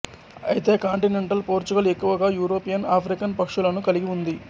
అయితే continental Portugal ఎక్కువగా European African పక్షులను కలిగి ఉంది